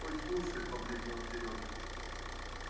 ой слушай побледнел серёга